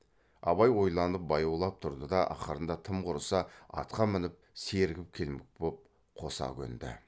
абай ойланып баяулап тұрды да ақырында тым құрыса атқа мініп сергіп келмек боп қоса көнді